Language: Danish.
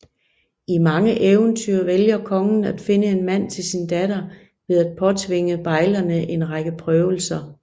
I mange eventyr vælger kongen at finde en mand til sin datter ved at påtvinge bejlerne en række prøvelser